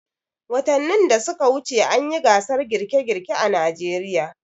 Watanin da suka wuce an yi gasar girke-girke a Najeriya.